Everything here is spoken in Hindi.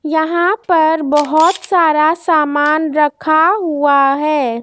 यहां पर बहोत सारा सामान रखा हुआ है।